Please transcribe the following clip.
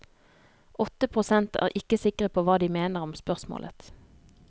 Åtte prosent er ikke sikre på hva de mener om spørsmålet.